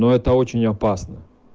но это очень опасно